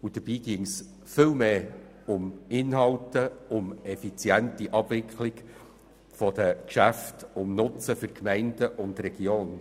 Dabei ginge es viel mehr um Inhalte, eine effiziente Abwicklung der Geschäfte sowie um den Nutzen für die Gemeinden und Regionen.